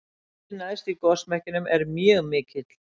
hitinn neðst í gosmekkinum er mjög mikill